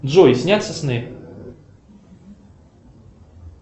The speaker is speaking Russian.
джой снятся сны